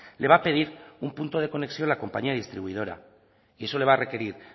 le va a pedir un punto de conexión la compañía distribuidora y eso le va a requerir